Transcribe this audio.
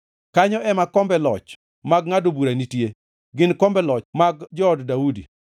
Kanyo ema kombe loch mag ngʼado bura nitie gin kombe loch mag jood Daudi.